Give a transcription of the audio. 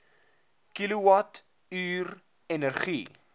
kilowatt uur energie